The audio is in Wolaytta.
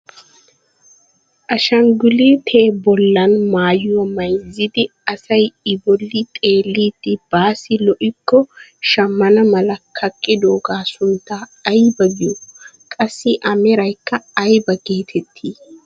Ashangulutee bollan maayuwaa mayzzidi asay i bolli xeellidi baassi lo"ikko shammana mala kaqqidoogaa sunttaa aybaa giyoo? Qassi a meraykka ayba getettii?